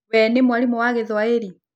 Wee nĩ mwarimũ wa Gĩthwaĩri.